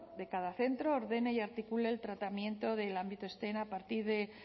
de cada centro ordene y articule el tratamiento del ámbito steam a partir de